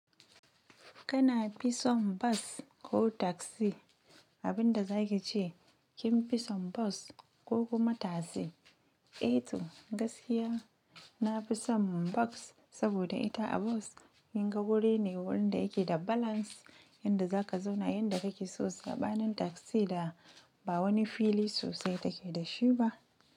Kana fisa son bus ko taxi abin da za ki ce kin fi son bus ko kuma taxi. Eto gaskiya na pisa don bus saboda ita a bus kin ga wurin ne wanda yake da balance yanda za ka zauna yanda ka ke so saɓanin taxi da ba wani fili sosai ta ke da shi ba.